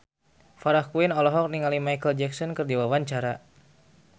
Farah Quinn olohok ningali Micheal Jackson keur diwawancara